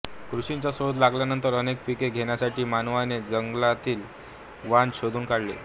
कृषिचा शोध लागल्यानंतर अनेक पिके घेण्यासाठी मानवाने जंगलातिलच वान शोधून काढले